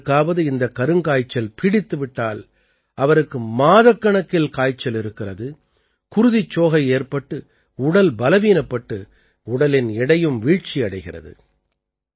யாருக்காவது இந்தக் கருங்காய்ச்சல் பீடித்து விட்டால் அவருக்கு மாதக்கணக்கில் காய்ச்சல் இருக்கிறது குருதிச்சோகை ஏற்பட்டு உடல் பலவீனப்பட்டு உடலின் எடையும் வீழ்ச்சி அடைகிறது